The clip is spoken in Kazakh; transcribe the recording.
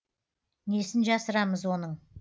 несін жасырамыз оның